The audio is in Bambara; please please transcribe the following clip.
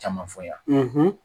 Caman fɔ yan